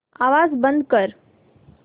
आवाज बंद कर